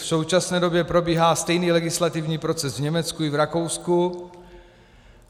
V současné době probíhá stejný legislativní proces v Německu i v Rakousku.